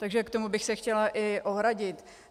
Takže proti tomu bych se chtěla i ohradit.